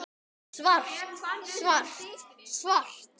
Svart, svart, svart.